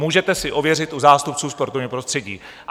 Můžete si ověřit u zástupců sportovního prostředí.